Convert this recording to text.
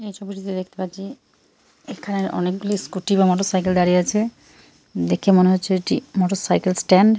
এই ছবিটিতে দেখতে পাচ্ছি এখানে অনেকগুলি স্ক্যুটি বা মোটরসাইকেল দাঁড়িয়ে আছে দেখে মনে হচ্ছে এটি মোটরসাইকেল স্ট্যান্ড ।